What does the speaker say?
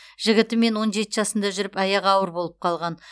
жігітімен он жеті жасында жүріп аяғы ауыр болып қалған